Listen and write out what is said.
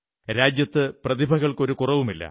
രാജ്യത്ത് പ്രതിഭകൾക്ക് ഒരു കുറവുമില്ല